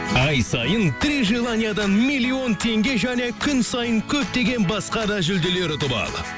ай сайын три желаниядан миллион теңге және күн сайын көптеген басқа да жүлделер ұтып ал